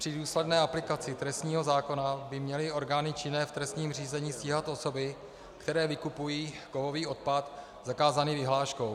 Při důsledné aplikaci trestního zákona by měly orgány činné v trestním řízení stíhat osoby, které vykupují kovový odpad zakázaný vyhláškou.